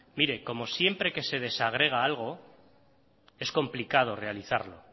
como siempre que se desagrega algo es complicado realizarlo